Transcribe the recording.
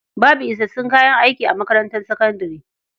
Babu isassun kayan aiki a makarantar sakandare.